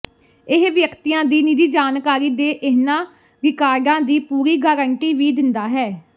ਇਹ ਵਿਅਕਤੀਆਂ ਦੀ ਨਿੱਜੀ ਜਾਣਕਾਰੀ ਦੇ ਇਹਨਾਂ ਰਿਕਾਰਡਾਂ ਦੀ ਪੂਰੀ ਗਾਰੰਟੀ ਵੀ ਦਿੰਦਾ ਹੈ